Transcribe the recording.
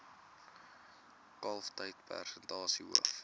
kalftyd persentasie hoof